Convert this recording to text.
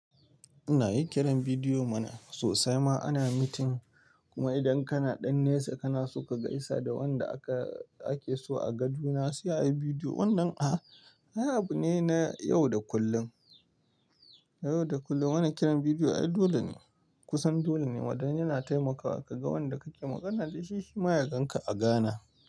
Ina yin kiran bidiyo ma sosai ma ana meeting. Kuma idan kana ɗan nesa kana so ka gaisa da wanda aka ake so a gan juna, sai ayi bidiyo. Wannan ah, ay abu ne na yau da kullum. Yau da kullum muna kiran bidiyo ai dole ne kusan dole ne. Wadannan yana taimakawa ka ga wanda kake magana da shi shi ma ya ganka a gane.